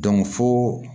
fo